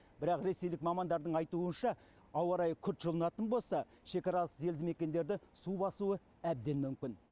бірақ ресейлік мамандардың айтуынша ауа райы күрт жылынатын болса шекаралас елді мекендерді су басуы әбден мүмкін